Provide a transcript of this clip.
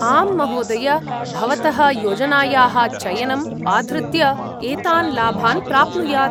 आम्, महोदय, भवतः योजनायाः चयनम् आधृत्य एतान् लाभान् प्राप्नुयात्।